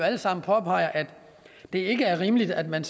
alle sammen påpeger at det ikke er rimeligt at man